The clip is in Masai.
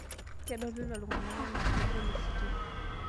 Kedolita ltung'ana enaa kegol ositima